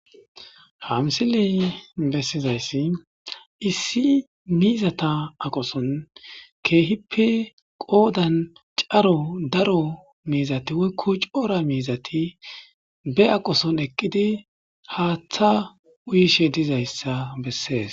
ha misiley bessizayssi issi miizata aqoson keehippe qoodan caro daro miizati woykko coora miizati be aqoson eqqidi haaththa uyishe dizayssa bessees